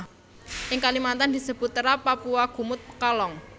Ing Kalimantan disebut terap kapua kumut pekalong